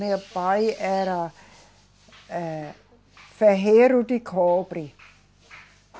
Meu pai era, eh, ferreiro de cobre.